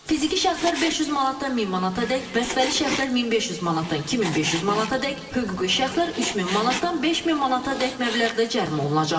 Fiziki şəxslər 500 manatdan 1000 manatadək, vəsfəli şəxslər 1500 manatdan 2500 manatadək, hüquqi şəxslər 3000 manatdan 5000 manatadək məbləğdə cərimə olunacaqlar.